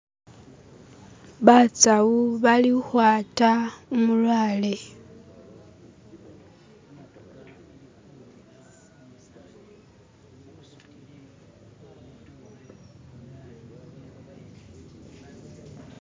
basawu bali uhwata umulwale